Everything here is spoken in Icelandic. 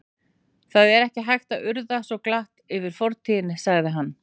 Það er ekki hægt að urða svo glatt yfir fortíðina sagði hann.